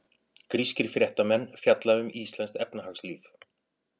Grískir fréttamenn fjalla um íslenskt efnahagslíf